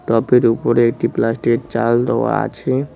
টবের উপরে একটি প্লাস্টিকের চাল দেওয়া আছে।